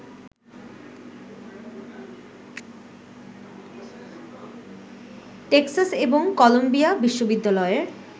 Texas এবং Columbia বিশ্ববিদ্যালয়ের